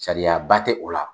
Sariyaba tɛ o la.